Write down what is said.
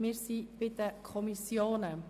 Wir sind nun bei den Kommissionen.